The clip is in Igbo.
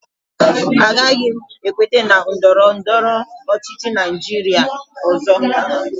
Agaghị m ekweta na ndọrọ ndọrọ ọchịchị Naijiria ọzọ